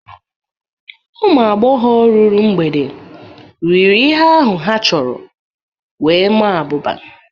Ụmụ agbọghọ ruru mgbede riri ihe ahụ ha chọrọ wee maa abụba.